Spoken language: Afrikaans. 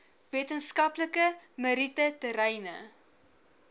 wetenskaplike meriete terreine